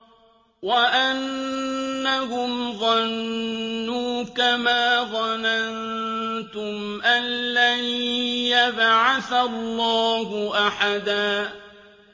وَأَنَّهُمْ ظَنُّوا كَمَا ظَنَنتُمْ أَن لَّن يَبْعَثَ اللَّهُ أَحَدًا